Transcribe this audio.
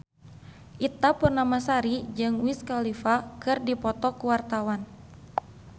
Ita Purnamasari jeung Wiz Khalifa keur dipoto ku wartawan